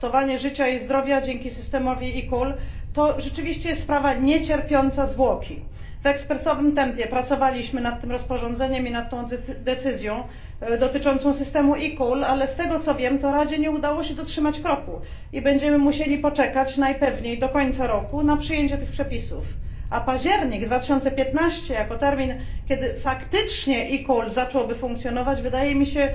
Ratowanie życia i zdrowia dzięki systemowi eCall, to rzeczywiście sprawa niecierpiąca zwłoki. W ekspresowym tempie pracowaliśmy nad tym rozporządzeniem i nad tą decyzją dotyczącą systemu eCall, ale z tego, co wiem, to Radzie nie udało się dotrzymać kroku, i będziemy musieli poczekać najpewniej do końca roku na przyjęcie tych przepisów, a październik 2015 r. jako termin, kiedy faktycznie eCall zacząłby funkcjonować wydaje mi się